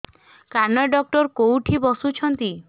କାନ ଡକ୍ଟର କୋଉଠି ବସୁଛନ୍ତି